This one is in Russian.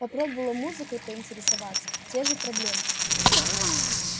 попробовала музыкой поинтересоваться те же проблемы